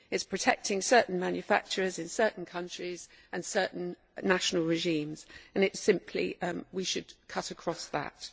It is protecting certain manufacturers in certain countries, and certain national regimes, and we should cut across that.